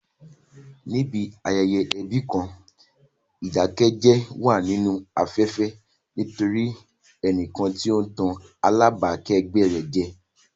Níbi ayẹyẹ ẹbí kan, ìdákẹ́jẹ́ wà nínú afẹ́fẹ́ nítorí ẹnìkan tí ó ń tàn alábàákẹ́gbẹ́ rẹ̀ jẹ.